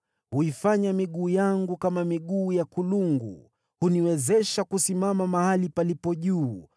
Huifanya miguu yangu kama miguu ya kulungu, huniwezesha kusimama mahali palipo juu.